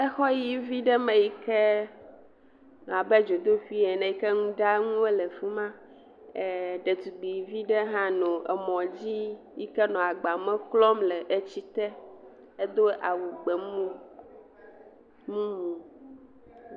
Exɔ ʋɛ̃vi ɖe me yike abe dzodoƒe ene, nuɖanuwo le afi ma. Ɖetugbui vi ɖe hã nɔ emɔ dzi yike nɔ agba me klɔm le etsi te, edo awu gbemu mumu.